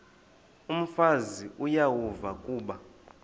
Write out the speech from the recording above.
umfazi uyavuya kuba